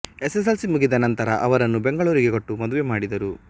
SSLC ಮುಗಿದ ನಂತರ ಅವರನ್ನು ಬೆಂಗಳೂರಿಗೆ ಕೊಟ್ಟು ಮದುವೆ ಮಾಡಿದರು